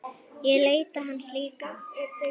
Ég leita hans líka.